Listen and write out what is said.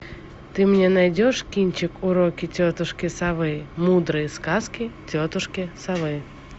ты мне найдешь кинчик уроки тетушки совы мудрые сказки тетушки совы